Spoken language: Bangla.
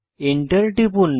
এন্টার টিপুন